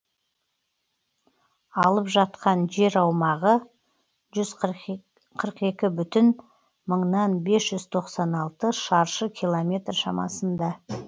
алып жатқан жер аумағы жүз қырық екі бүтін мыңнан бес жүз тоқсан алты шаршы километр шамасында